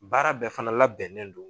Baara bɛɛ fana labɛnnen do